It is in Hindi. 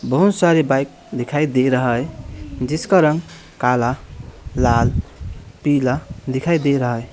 बहोत सारे बाइक दिखाई दे रहा है जिसका रंग काला लाल पीला दिखाई दे रहा है।